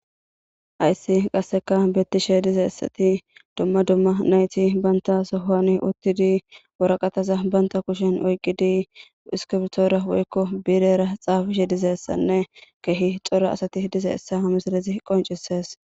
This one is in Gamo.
Ayssi qasseka bettishe dize essati dumma dumma nayti banta sohoani uttidi woraqataza banta kushen oyqidi iskibtoora woykko biirera xaafishe dizessanne kehi xora asati dize essa hamislezi qoncisees.